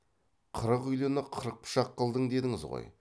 қырық үйліні қырық пышақ қылдың дедіңіз ғой